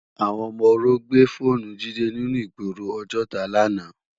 Awòn òmò óró gbá fónù Jide ninú igbóró Ojota làná